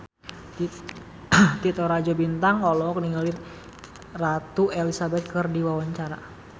Titi Rajo Bintang olohok ningali Ratu Elizabeth keur diwawancara